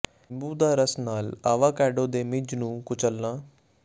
ਨਿੰਬੂ ਦਾ ਰਸ ਨਾਲ ਆਵਾਕੈਡੋ ਦੇ ਮਿੱਝ ਨੂੰ ਕੁਚਲਣਾ